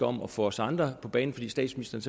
om at få os andre på banen fordi statsministeren